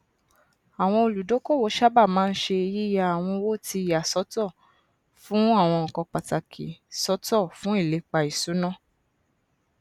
àwọn olúdókòwò sáábà màa n ṣe yìya àwọn owó ti yà sọtọ fún àwọn nnkan pàtàkì sọtọ fun ìlepa ìṣúná